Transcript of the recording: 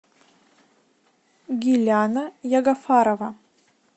гиляна ягофарова